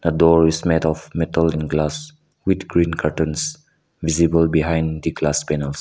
door is made of metal and glass with green curtains visible behind the glass panels.